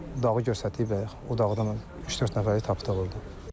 Dağı göstərdik bayaq, o dağdan üç-dörd nəfəri tapdıq orda.